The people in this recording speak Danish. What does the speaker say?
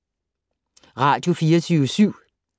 Radio24syv